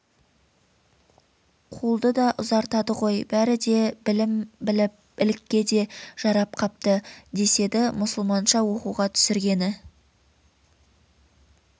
қолды да ұзартады ғой бәрі де білім біліп ілікке де жарап қапты деседі мұсылманша оқуға түсіргені